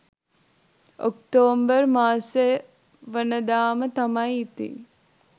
October මාසේවනදාම තමයි ඉතින්.